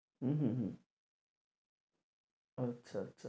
উম হম হম আচ্ছা আচ্ছা